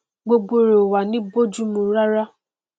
gbogbo rẹ ò wá ní bójúmu rárá